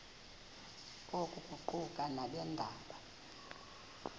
oku kuquka nabeendaba